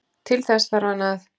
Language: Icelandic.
Til þess þarf hann að